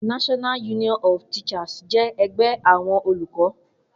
NUT jẹ́ ẹgbẹ́ àwọn olùkọ́